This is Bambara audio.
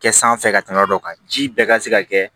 Kɛ sanfɛ ka tɛmɛ yɔrɔ dɔ kan ji bɛɛ ka se ka kɛ